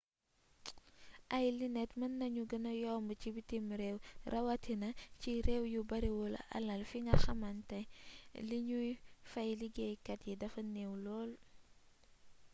ay linet mën nañu gëna yomb ci bitim réew rawatina ci réew yu bariwul alal fi nga xàmante liñuy fay liggéeykat yi dafa neew lool